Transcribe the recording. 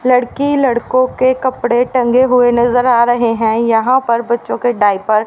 लड़की लड़को के कपड़े टंगे हुए नज़र आ रहे हैं यहाँ पर बच्चों के डायपर --